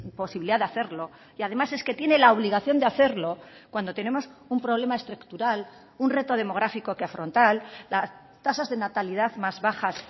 posibilidad de hacerlo y además es que tiene la obligación de hacerlo cuando tenemos un problema estructural un reto demográfico que afrontar las tasas de natalidad más bajas